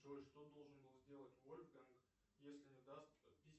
джой что должен был сделать вольфганг если не даст